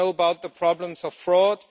We know about the problems of fraud.